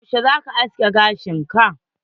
Yaushe zaka askin gashin ka?